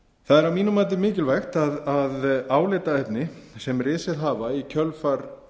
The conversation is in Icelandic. það er að mínu mati mikilvægt að álitaefni sem risið hafa í kjölfar